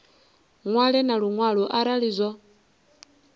ṅwale na luṅwalo arali zwo